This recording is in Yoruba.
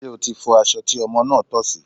Ṣé o ti fọ aṣọ tí ọmọ ọmọ́ tọ̀ sí?